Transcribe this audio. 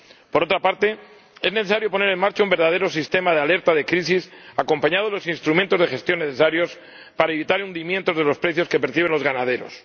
Por otra parte, es necesario poner en marcha un verdadero sistema de alerta de crisis acompañado de los instrumentos de gestión necesarios para evitar el hundimiento de los precios que perciben los ganaderos.